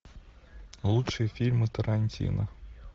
лучшие фильмы тарантино